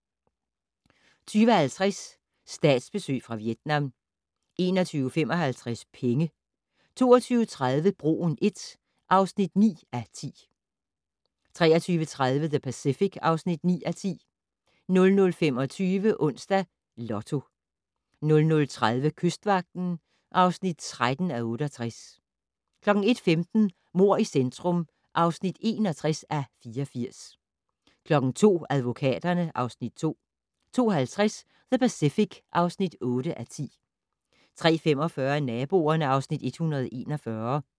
20:50: Statsbesøg fra Vietnam 21:55: Penge 22:30: Broen I (9:10) 23:30: The Pacific (9:10) 00:25: Onsdags Lotto 00:30: Kystvagten (13:68) 01:15: Mord i centrum (61:84) 02:00: Advokaterne (Afs. 2) 02:50: The Pacific (8:10) 03:45: Naboerne (Afs. 141)